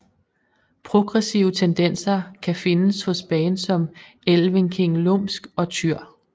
Progressive tendenser kan findes hos bands som Elvenking Lumsk og Týr